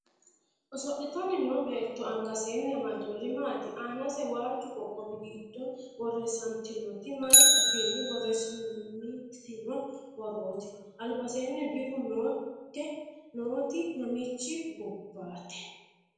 Oso'litanni noo beetto angasenni amaddinori maati? Aanase waajju qoqqowi giddo borreessantinoti maay afiinni borreessantino borrooti? Albaseenni birru nootte nooti mamiichi gobbate?